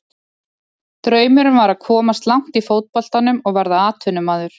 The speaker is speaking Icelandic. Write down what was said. Draumurinn var að komast langt í fótboltanum og verða atvinnumaður.